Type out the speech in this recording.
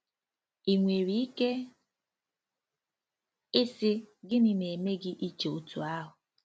Ị nwere ike ịsị: "Gịnị na-eme gị iche otú ahụ?"